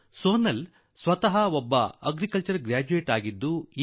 ಸೋನಾಲ್ ಸ್ವತಃ ಕೃಷಿ ಪದವೀಧರೆ